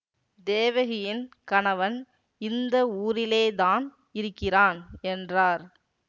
தேவகியின் கணவன் இந்த ஊரிலேதான் இருக்கிறான் என்றார்